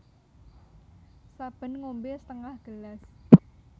Saben ngombé setengah gelas